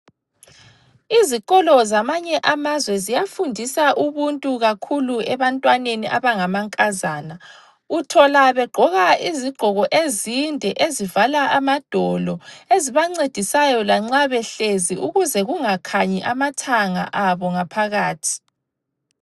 Izikolo zamanye amazwe ziyafundisa ubuntu kakhulu ebantwaneni abangamankazana. Uthola begqoka izigqoko ezinde ezivala amadolo, ezibancedisayo lanxa behlezi ukuze kungakhanyi amathanga abo ngaphakathi.